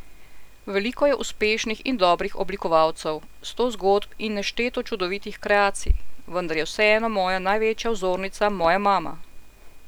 Veliko je uspešnih in dobrih oblikovalcev, sto zgodb in nešteto čudovitih kreacij, vendar je vseeno moja največja vzornica moja mama!